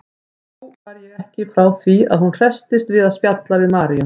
Þó var ég ekki frá því að hún hresstist við að spjalla við Maríu.